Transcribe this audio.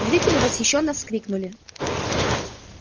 зрители восхищённо вскрикнули